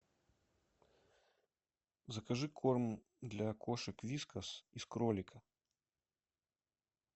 закажи корм для кошек вискас из кролика